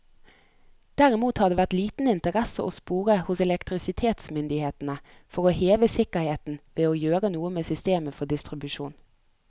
Derimot har det vært liten interesse å spore hos elektrisitetsmyndighetene for å heve sikkerheten ved å gjøre noe med systemet for distribusjon.